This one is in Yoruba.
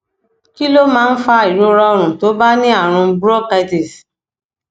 kí ló máa ń fa ìrora ọrùn tó bá ní àrùn bronchitis